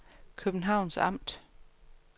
Københavns Amt